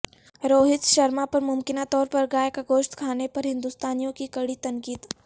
روہت شرما پر ممکنہ طور پر گائے کا گوشت کھانے پر ہندوستانیوں کی کڑی تنقید